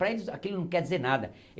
Para eles, aquilo não quer dizer nada.